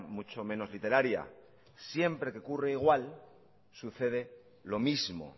mucho menos literaria siempre que ocurre igual sucede lo mismo